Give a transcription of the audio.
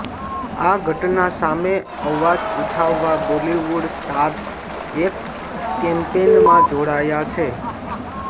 આ ઘટના સામે અવાજ ઉઠાવવા બોલીવૂડ સ્ટાર્સ એક કૅમ્પેનમાં જોડાયા છે